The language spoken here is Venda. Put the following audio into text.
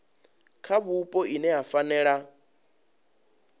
kha vhupo ine ya fanela